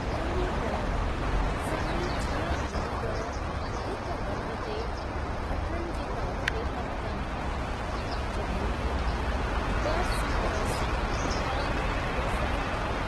अहिड़ीअ तरह, सभई छह रांदीगरु हिकु वक़्ति ते हटरन जे तौर ते कमु कनि था, जॾहिं कि ॿ सीटरज़ तौर कमु करे सघनि था।